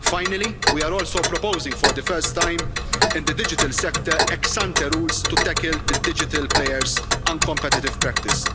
Finally, we are also proposing, for the first time in the digital sector, ex-ante rules to tackle the digital players' uncompetitive practice.